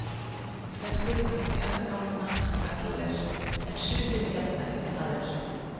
Flestir voru bjargálna sem kallað er, en sumir jafnari en aðrir.